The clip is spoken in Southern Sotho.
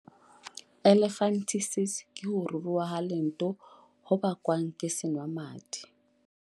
elephantiasis ke ho ruruha leoto ho bakwang ke senwamadi